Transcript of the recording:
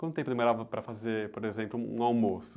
Quanto tempo demorava para fazer, por exemplo, um almoço?